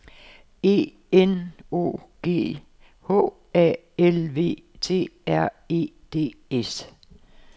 E N O G H A L V T R E D S